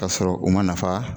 K'a sɔrɔ u ma nafa